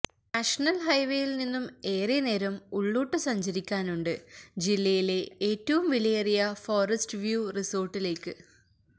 national ഹൈവേയില് നിന്നും ഏറെ നേരം ഉള്ളോട്ട് സഞ്ചരിക്കാനുണ്ട് ജില്ലയിലെ ഏറ്റവും വിലയേറിയ ഫോറസ്റ്റ് വ്യൂ റിസോര്ട്ടിലേക്ക്